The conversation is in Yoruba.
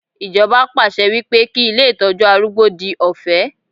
Ijoba pàṣẹ wípé kí ilé Ìtọ́jú arúgbó di ọ̀fẹ́.